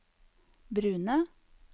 brune